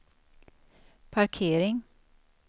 parkering